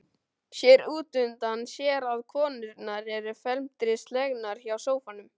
Sér útundan sér að konurnar eru felmtri slegnar hjá sófanum.